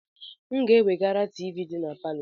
M ga-eweghara tivii dị na palọ.